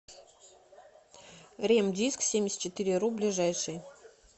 ремдисксемьдесятчетыреру ближайший